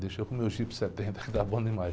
Deixa eu com o meu Jeep setenta que está bom demais.